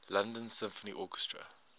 london symphony orchestra